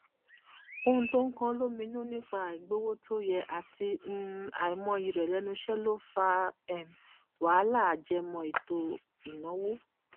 ohun tó ń kanán lóminú nípa àìgbowó tó yẹ àti um àìmọyì rẹ lẹnu iṣẹ ló fa um wàhálà ajẹmọ ètò ìnáwó